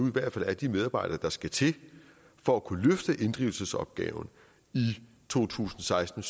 i hvert fald er de medarbejdere der skal til for at kunne løfte inddrivelsesopgaven i to tusind og seksten